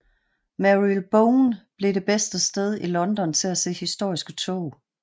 Marylebone blev det bedste sted i London til at se historiske tog